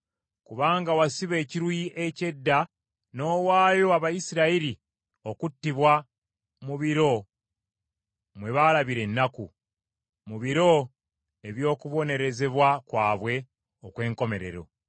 “ ‘Kubanga wasiba ekiruyi eky’edda n’owaayo Abayisirayiri okuttibwa mu biro mwe baalabira ennaku, mu biro eby’okubonerezebwa kwabwe okwenkomerero,